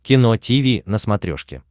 кино тиви на смотрешке